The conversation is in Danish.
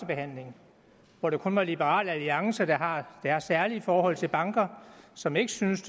behandling hvor det kun var liberal alliance der har deres særlige forhold til banker som ikke syntes